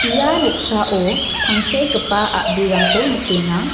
ia noksao tangsekgipa a·brirangko nikenga.